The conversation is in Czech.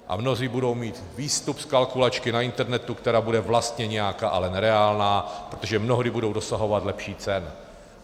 A mnozí budou mít výstup z kalkulačky na internetu, která bude vlastně nějaká, ale nereálná, protože mnohdy budou dosahovat lepších cen.